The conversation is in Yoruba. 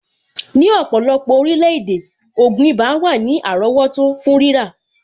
Ní ọ̀pọ̀lọpọ̀ orílẹ̀-èdè, ògùn ibà wà ní àrọ́wọ́tó fún rírà.